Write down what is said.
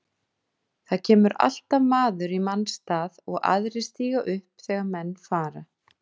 Það kemur alltaf maður í manns stað og aðrir stíga upp þegar menn fara.